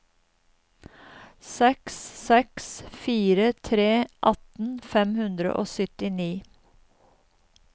seks seks fire tre atten fem hundre og syttini